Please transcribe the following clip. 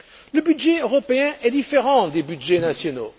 Le budget européen est différent des budgets nationaux.